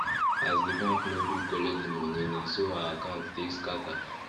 as the bank no gree collect the money na so her account take scatter